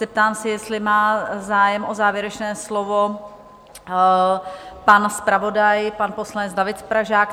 Zeptám se, jestli má zájem o závěrečné slovo pan zpravodaj, pan poslanec David Pražák?